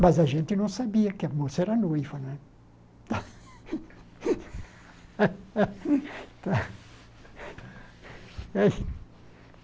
Mas a gente não sabia que a moça era noiva, né?